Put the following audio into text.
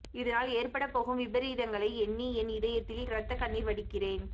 இதனால் ஏற்படப்போகும் விபரீதங்களை எண்ணி என் இதயத்தில் இரத்தக் கண்ணீர் வடிக்கிறேன்